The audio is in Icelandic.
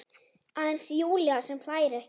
Aðeins Júlía sem hlær ekki.